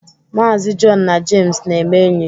Maazi Jọn na Jems na-eme enyi.